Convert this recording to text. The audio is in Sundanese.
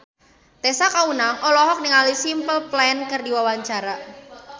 Tessa Kaunang olohok ningali Simple Plan keur diwawancara